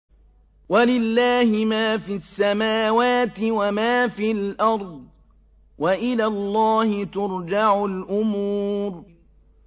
وَلِلَّهِ مَا فِي السَّمَاوَاتِ وَمَا فِي الْأَرْضِ ۚ وَإِلَى اللَّهِ تُرْجَعُ الْأُمُورُ